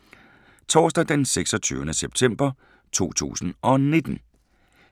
Torsdag d. 26. september 2019